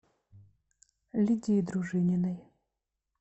лидии дружининой